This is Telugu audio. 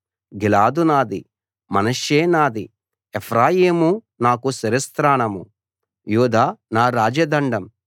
గిలాదు నాది మనష్షే నాది ఎఫ్రాయిము నాకు శిరస్త్రాణం యూదా నా రాజదండం